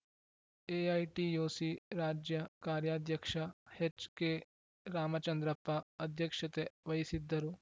AITUC ರಾಜ್ಯ ಕಾರ್ಯಾಧ್ಯಕ್ಷ ಎಚ್‌ಕೆರಾಮಚಂದ್ರಪ್ಪ ಅಧ್ಯಕ್ಷತೆ ವಹಿಸಿದ್ದರು